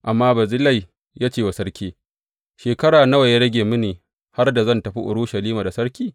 Amma Barzillai ya ce wa sarki, Shekara nawa ya rage mini har da zan tafi Urushalima da sarki?